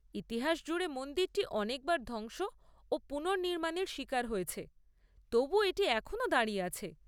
ইতিহাস জুড়ে মন্দিরটি অনেকবার ধ্বংস ও পুনর্নির্মাণের শিকার হয়েছে, তবু এটি এখনও দাঁড়িয়ে আছে!